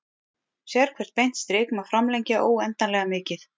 Sérhvert beint strik má framlengja óendanlega mikið.